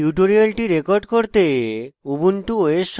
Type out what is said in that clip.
tutorial record করতে